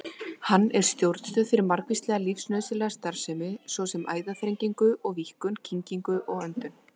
Hann er stjórnstöð fyrir margvíslega lífsnauðsynlega starfsemi, svo sem æðaþrengingu og-víkkun, kyngingu og öndun.